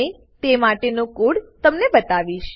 અને તે માટેનો કોડ તમને બતાવીશ